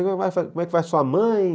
Como é que vai sua mãe?